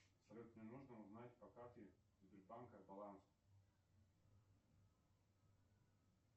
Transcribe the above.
салют мне нужно узнать по карте сбербанка баланс